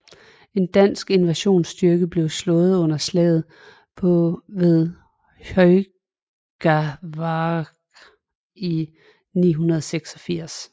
En dansk invasionsstyrke blev slået under slaget ved Hjörungavágr i 986